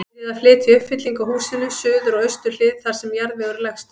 Byrjað að flytja uppfyllingu að húsinu, suður og austur hlið, þar sem jarðvegur er lægstur.